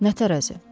Nə tərəzi?